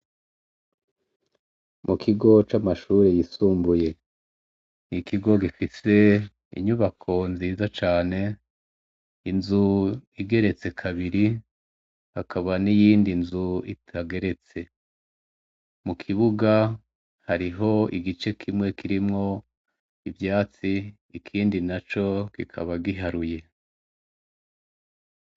Mukigo camashure yisumbuye ikigo gifise inyubako nziza cane inzu igeretse kabiri hakaba niyindi nzu itageretse mukibuga hariho igice kimwe kirimwo ivyatsi ikindi naco kikaba giharuye